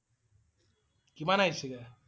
কিমান আহিছিল?